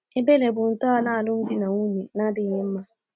Ebere bụ ntọala alụmdi na nwunye na-adịghị mma.